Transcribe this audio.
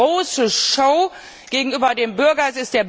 Es ist die große Show gegenüber dem Bürger.